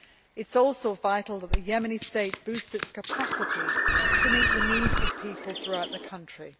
It is also vital that the Yemeni state boosts its capacity to meet the needs of people throughout the country.